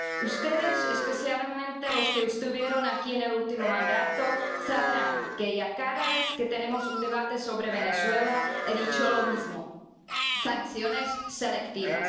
Ustedes, especialmente los que estuvieron aquí en el último mandato, sabrán que, cada vez que tenemos un debate sobre Venezuela, he dicho lo mismo sanciones selectivas.